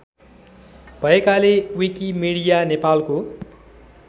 भएकाले विकिमीडिया नेपालको